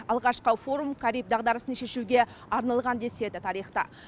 алғашқы форум кариб дағдарысын шешуге арналған деседі тарихта